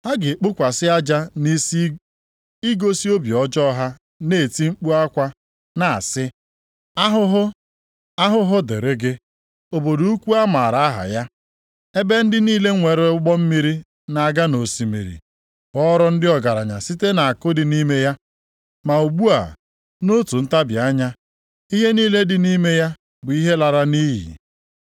Ha ga-ekpokwasị aja nʼisi igosi obi ọjọọ ha na-eti mkpu akwa na-asị, “ ‘Ahụhụ, Ahụhụ dịrị gị, obodo ukwu a maara aha ya ebe ndị niile nwere ụgbọ mmiri na-aga nʼosimiri ghọrọ ndị ọgaranya site nʼakụ dị nʼime ya. Ma ugbu a, nʼotu ntabi anya, ihe niile dị nʼime ya bụ ihe a laara nʼiyi.’